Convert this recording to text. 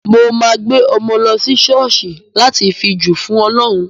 Mo máa gbé ọmọ lọ sí ṣọ́ọ̀ṣì láti fi jì fún ọlọ́run.